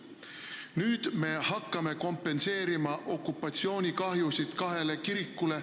Nüüd me hakkame kompenseerima okupatsioonikahjusid kahele kirikule.